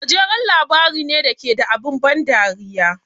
Gajeren labari ne da ke da abin ban dariya.